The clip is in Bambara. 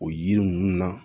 O yiri ninnu na